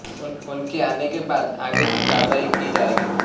उनके आने के बाद आगे की कार्रवाई की जाएगी